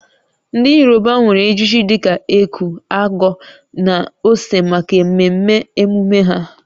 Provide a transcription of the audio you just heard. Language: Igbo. Ndị Yoruba nwere ejiji dị ka eku/ago na ose maka mmemme emume ha